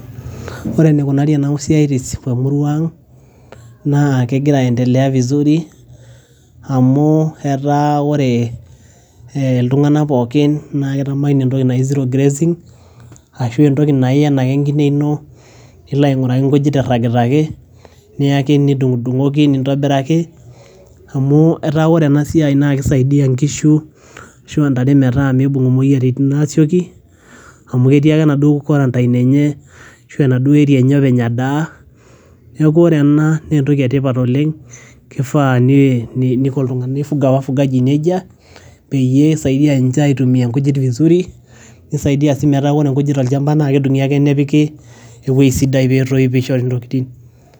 ore enikunari enasiai temura ang, naa kegira aendelea vizuri amu etaa wore iltung'anak pookin naa kitamani entoki naji zero grazing ashu entoki naa iyen ake enkine ino nilo aing'uraki inkujit irragita ake niyaki nidung'udung'oki nintobiraki amu etaa wore enasiai naa kisaidia inkishu ashua intare metaa mibung imoyiaritin asioki amu ketii ake enaduo quarantine enye ashu enaduo area enye openy edaa neeku ore ena naa entoki etipat oleng kifaa nii nifuga wafugaji nejia peyie eisaidia ninche aitumia inkujit vizuri nisaidia sii meta wore nkujit tolchamba naa kedung'i ake nepiki ewueji sidai petoi pishori intokitin.